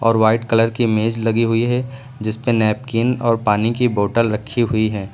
और white colour की मेज लगी हुई है जिस पे नैपकिन और पानी की बॉटल रखी हुई है।